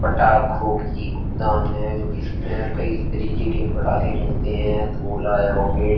पटाखों की दाम है जोकि इसमे कई तरीके के पटाके मिलते हैं। ओला या रोकेट --